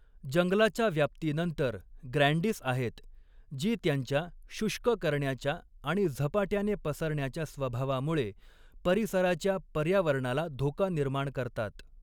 जंगलाच्या व्याप्तीनंतर ग्रँडिस आहेत, जी त्यांच्या शुष्क करण्याच्या आणि झपाट्याने पसरण्याच्या स्वभावामुळे परिसराच्या पर्यावरणाला धोका निर्माण करतात.